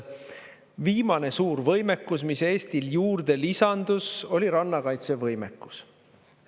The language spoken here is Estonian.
Viimane suur võimekus, mis Eestil juurde lisandus, oli rannakaitse võimekus.